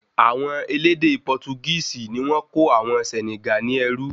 Awọn elédè Portugisi ní wọ́n kó àwọn Senegal ní ẹrú